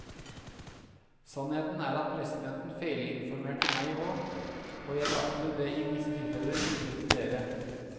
Sannheten er at presidenten feilinformerte meg også, og jeg bragte det i visse tilfeller videre til dere.